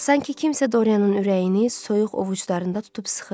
Sanki kimsə Dorianın ürəyini soyuq ovucularında tutub sıxırdı.